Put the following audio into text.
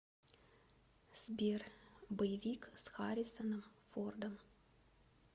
сбер боевик с хариссоном фордом